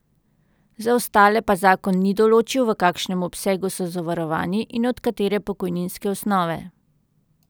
Za ostale pa zakon ni določil, v kakšnem obsegu so zavarovani in od katere pokojninske osnove.